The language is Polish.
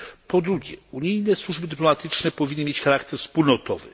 Po drugie, unijne służby dyplomatyczne powinny mieć charakter wspólnotowy.